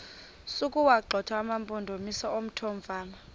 sokuwagxotha amampondomise omthonvama